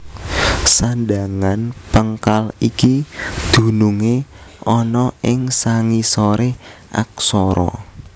Sandhangan péngkal iki dunungé ana ing sangisoré aksara